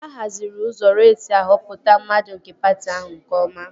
A haziri usoro esi ahọpụta mmadụ nke patị ahụ nke ọma